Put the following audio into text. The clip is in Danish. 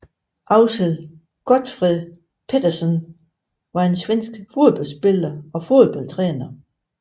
Axel Gottfried Pettersson var en svensk fodboldspiller og fodboldtræner